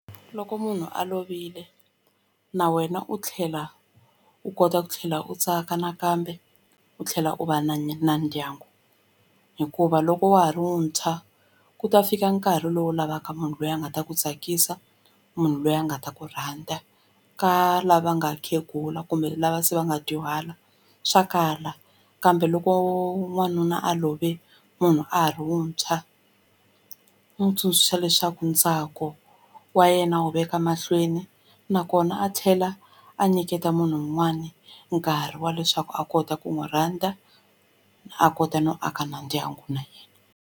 Loko munhu a lovile na wena u tlhela u kota ku tlhela u tsaka nakambe u tlhela u va na na ndyangu hikuva loko wa ha ri muntshwa ku ta fika nkarhi lowu u lavaka munhu loyi a nga ta ku tsakisa munhu loyi a nga ta ku rhandza ka lava nga khegula kumbe lava se va nga dyuhala swa kala kambe loko n'wanuna a love munhu a ha ri wuntshwa ndzi n'wi tsundzuxa leswaku ntsako wa yena wu veka mahlweni nakona a tlhela a nyiketa munhu wun'wani nkarhi wa leswaku a kota ku n'wi rhandza a kota no aka na ndyangu na yena.